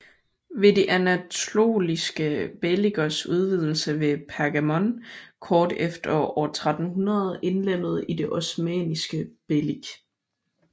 Ved de anatoliske beylikers udvidelse blev Pergamon kort efter år 1300 indlemmet i det osmanniske beylik